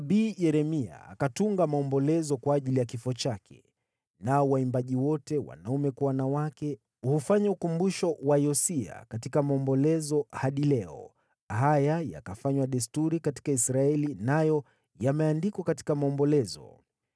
Nabii Yeremia akatunga maombolezo kwa ajili ya kifo chake, nao waimbaji wote, wanaume kwa wanawake, hufanya ukumbusho wa Yosia katika maombolezo hadi leo. Haya yakafanywa desturi katika Israeli, nayo yameandikwa katika Maombolezo.